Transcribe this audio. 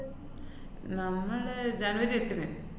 നമ്മള് ജാനുവരി എട്ടിന്.